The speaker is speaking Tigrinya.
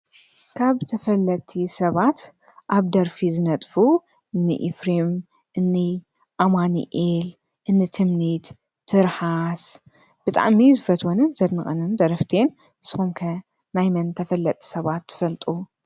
ካብ ተፈጥቲ ሰባት ኣብ ደርፊ ዝነጥፉ እኒ ኤፍርም፣ እኒ ኣማኒኤል፣ እን ትምኒት፣ ትርሃስ ብጣዕሚ ዝፈትወንን ዘድንቕንን ደረፍትን እየን። ንስኩም ከ ናይመን ተፈጥቲ ሰባት ትፈልጡ?